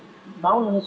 málum